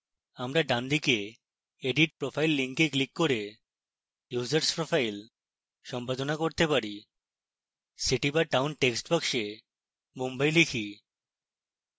আমরা ডানদিকে edit profile link click করে users profile সম্পাদনা করতে পারি city/town text box mumbai লিখি